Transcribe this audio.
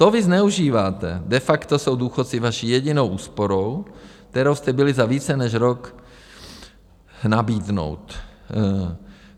To vy zneužíváte, de facto jsou důchodci vaší jedinou úsporou, kterou jste byli za více než rok... nabídnout.